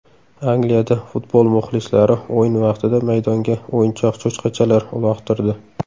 Angliyada futbol muxlislari o‘yin vaqtida maydonga o‘yinchoq cho‘chqachalar uloqtirdi .